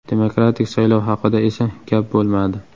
Demokratik saylov haqida esa gap bo‘lmadi.